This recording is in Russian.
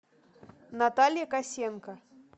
наталья косенко